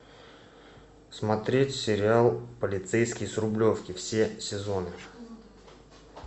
смотреть сериал полицейский с рублевки все сезоны